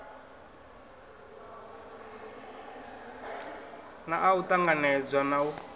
naa u ṱanganedzwa na u